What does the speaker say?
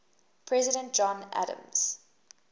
president john adams